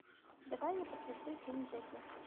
давай я посмотрю фильм джеки